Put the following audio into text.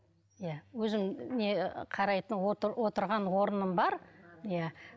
иә өзім не қарайтын отырған орным бар иә